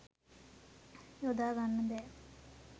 යොදා ගන්න බෑ.